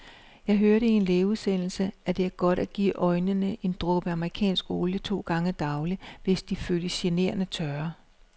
Jeg hørte i en lægeudsendelse, at det er godt at give øjnene en dråbe amerikansk olie to gange daglig, hvis de føles generende tørre.